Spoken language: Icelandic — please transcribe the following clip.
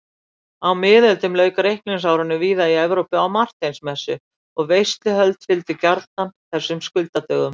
Á miðöldum lauk reikningsárinu víða í Evrópu á Marteinsmessu og veisluhöld fylgdu gjarnan þessum skuldadögum.